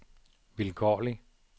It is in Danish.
vilkårlig